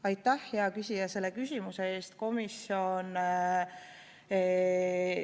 Aitäh, hea küsija, selle küsimuse eest!